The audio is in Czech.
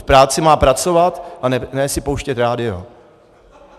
V práci má pracovat a ne si pouštět rádio.